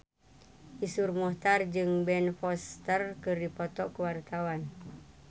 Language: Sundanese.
Iszur Muchtar jeung Ben Foster keur dipoto ku wartawan